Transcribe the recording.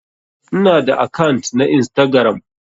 Ina da akant na Instagram.